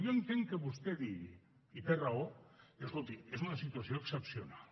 jo entenc que vostè digui i té raó que escolti és una situació excepcional